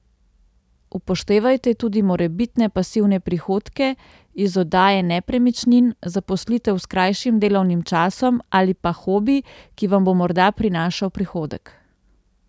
Upoštevajte tudi morebitne pasivne prihodke iz oddaje nepremičnin, zaposlitev s krajšim delovnim časom ali pa hobi, ki vam bo morda prinašal prihodek.